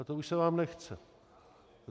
A to už se vám nechce.